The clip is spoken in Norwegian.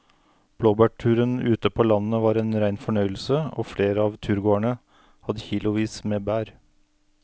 Blåbærturen ute på landet var en rein fornøyelse og flere av turgåerene hadde kilosvis med bær.